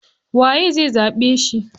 Waye zai zaɓe shi?